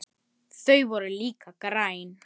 Þau voru líka græn.